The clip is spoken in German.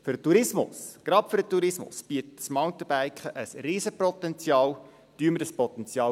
Für den Tourismus – gerade für den Tourismus – bietet das Mountainbiken ein riesiges Potenzial.